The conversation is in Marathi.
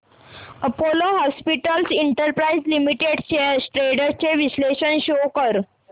Apollo hospitals enterprise limited shares trends चे विश्लेषण शो कर